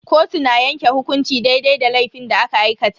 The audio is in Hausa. Kotu na yanke hukunci daidai da laifin da aka aikata.